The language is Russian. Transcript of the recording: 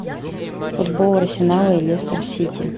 футбол арсенала и лестер сити